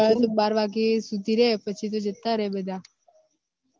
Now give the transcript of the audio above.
સમાજ વાળા તો બાર વાગ્યા સુધી રે પછી તો જતા રે બધા